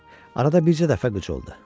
Arada bircə dəfə qıc oldu.